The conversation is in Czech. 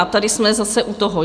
A tady jsme zase u toho.